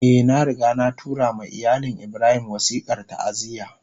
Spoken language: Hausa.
Eh, na riga na tura ma iyalin Ibrahim wasikar ta'aziyya